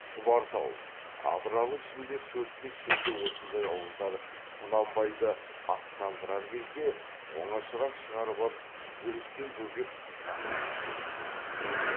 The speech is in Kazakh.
шұбартау абралы ішінде төрт бес жерде осындай ауылдар құнанбайды аттандырар кезде оңашарақ шығарып ап жүрістен бөгеп жасырын сөйлеп те қалады